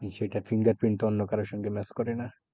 সেটা fingerprint অন্য কারোর সঙ্গে match করে না?